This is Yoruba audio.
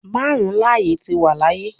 Marun laaye ti wa laaye